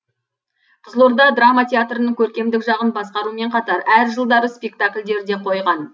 қызылорда драма театрының көркемдік жағын басқарумен қатар әр жылдары спектакльдер де қойған